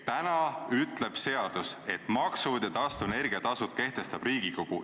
Täna ütleb seadus, et maksud ja taastuvenergia tasud kehtestab Riigikogu.